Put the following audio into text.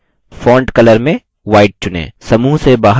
font color में white चुनें